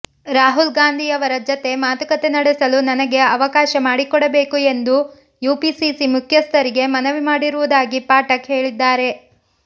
ರಾಹುಲ್ ಗಾಂಧಿಯವರ ಜತೆ ಮಾತುಕತೆ ನಡೆಸಲು ನನಗೆ ಅವಕಾಶ ಮಾಡಿಕೊಡಬೇಕು ಎಂದು ಯುಪಿಸಿಸಿ ಮುಖ್ಯಸ್ಥರಿಗೆ ಮನವಿ ಮಾಡಿರುವುದಾಗಿ ಪಾಠಕ್ ಹೇಳಿದ್ದಾರೆ